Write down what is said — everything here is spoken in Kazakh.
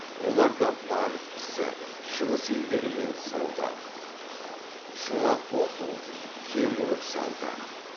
оларда банк ісі шығыс елдерімен сауда шұға тоқу кең өріс алды